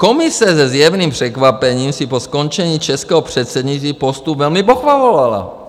Komise se zjevným překvapením si po skončení českého předsednictví postup velmi pochvalovala.